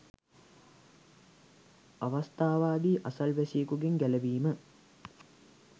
අවස්ථාවාදී අසල්වැසියෙකුගෙන් ගැලවීම